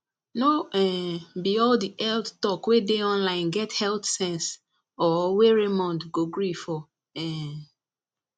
no um be all the health talk wey dey online get health sense or wey raymond go gree for um